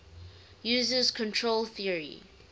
uses control theory